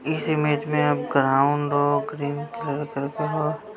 image में हम ground को ग्रीन कलर